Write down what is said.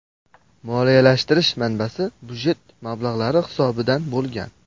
Moliyalashtirish manbasi budjet mablag‘lari hisobidan bo‘lgan.